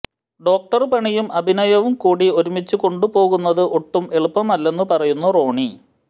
doctor പണിയും അഭിനയവും കൂടി ഒരുമിച്ച് കൊണ്ടുപോകുന്നത് ഒട്ടും എളുപ്പമല്ലെന്ന് പറയുന്നു റോണി